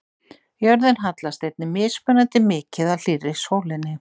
Jörðin hallast einnig mismunandi mikið að hlýrri sólinni.